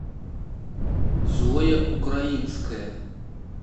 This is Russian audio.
зоя украинская